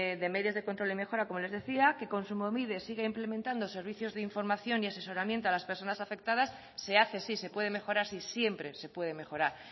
de medios de control y mejora como les decía que kontsumobide sigue implementando servicios de información y asesoramiento a las personas afectadas se hace sí se puede mejorar sí siempre se puede mejorar